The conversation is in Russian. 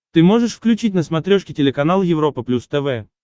ты можешь включить на смотрешке телеканал европа плюс тв